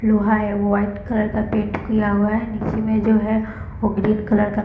लोहा है वो वाईट कलर का पेंट किया हुआ है निचे में जो है वो ग्रीन कलर का --